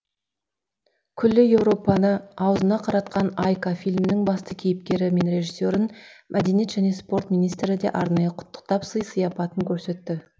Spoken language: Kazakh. күллі еуропаны аузына қаратқан айка фильмінің басты кейіпкері мен режиссерін мәдениет және спорт министрі де арнайы құттықтап сый сияпатын көрсетті